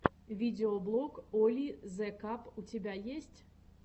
видеоблог оли зе каб у тебя есть